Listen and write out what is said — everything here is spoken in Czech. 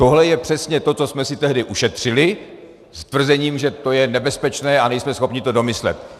Tohle je přesně to, co jsme si tehdy ušetřili s tvrzením, že to je nebezpečné a nejsme schopni to domyslet.